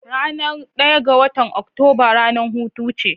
Ranar daya ga watan Oktoba ranar hutu ce?